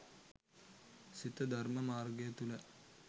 සිත ධර්ම මාර්ගය තුළ